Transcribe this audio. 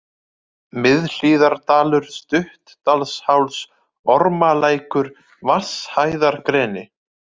Miðhlíðardalur, Stuttadalsháls, Ormalækur, Vatnshæðargreni